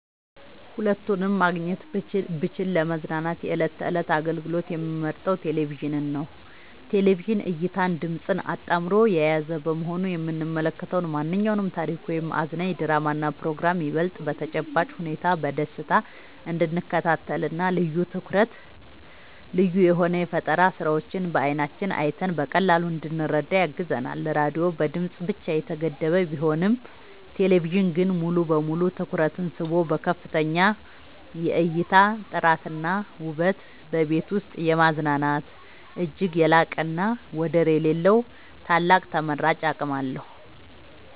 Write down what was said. ሁለቱንም ማግኘት ብችል ለመዝናኛ የዕለት ተዕለት አገልግሎት የምመርጠው ቴሌቪዥንን ነው። ቴሌቪዥን እይታንና ድምጽን አጣምሮ የያዘ በመሆኑ የምንመለከተውን ማንኛውንም ታሪክ ወይም አዝናኝ ድራማና ፕሮግራም ይበልጥ በተጨባጭ ሁኔታ በደስታ እንድንከታተልና ልዩ የሆኑ የፈጠራ ስራዎችን በዓይናችን አይተን በቀላሉ እንድንረዳ ያግዘናል። ራዲዮ በድምጽ ብቻ የተገደበ ቢሆንም ቴሌቪዥን ግን ሙሉ በሙሉ ትኩረትን ስቦ በከፍተኛ የእይታ ጥራትና ውበት በቤት ውስጥ የማዝናናት እጅግ የላቀና ወደር የሌለው ታላቅ ተመራጭ አቅም አለው።